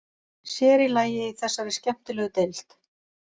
Sér í lagi í þessari skemmtilegu deild.